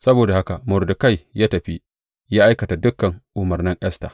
Saboda haka, Mordekai ya tafi, ya aikata dukan umarnan Esta.